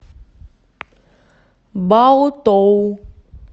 баотоу